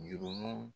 Jurumuw